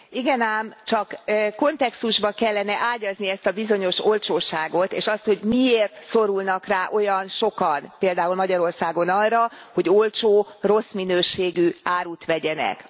Igen ám, csak kontextusba kellene ágyazni ezt a bizonyos olcsóságot, és azt, hogy miért szorulnak rá olyan sokan, például Magyarországon arra, hogy olcsó, rossz minőségű árut vegyenek.